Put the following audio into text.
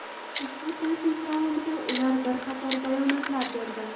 Ushbu tashrif davomida ular bir qator bayonotlar berdi.